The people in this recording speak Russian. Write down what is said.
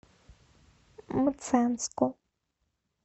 мценску